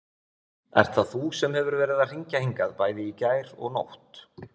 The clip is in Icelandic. Ert það þú sem hefur verið að hringja hingað bæði í gær og nótt?